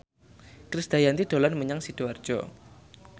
Krisdayanti dolan menyang Sidoarjo